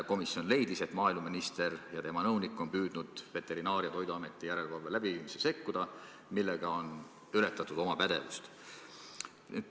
Komisjon leidis, et maaeluminister ja tema nõunik on püüdnud Veterinaar- ja Toiduameti järelevalve läbiviimisse sekkuda, millega on ületatud oma pädevust.